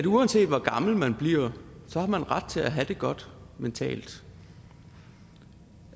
uanset hvor gammel man bliver har man ret til at have det godt mentalt